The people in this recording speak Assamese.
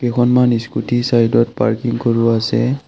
কেইখনমান স্কুটী ছাইডত পাৰ্কিং কৰোৱা আছে।